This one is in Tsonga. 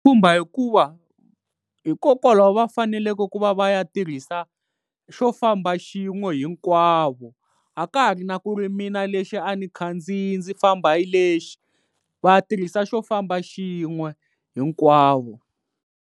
Khumba hikuva hikokwalaho va faneleke ku va va ya tirhisa xo famba xin'we hinkwavo a ka ha ri na ku ri mina lexi a ni khandziya ndzi famba hi lexi, va tirhisa xo famba xin'we hinkwavo.